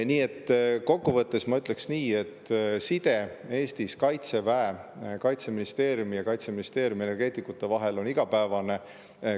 Nii et kokkuvõttes ma ütleks nii, et side Eestis Kaitseväe, Kaitseministeeriumi ja Kaitseministeeriumi energeetikute vahel on igapäevane.